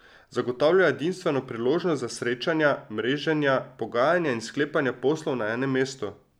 Zagotavlja edinstveno priložnost za srečanja, mreženja, pogajanja in sklepanja poslov na enem mestu.